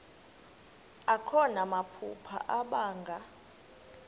akho namaphupha abanga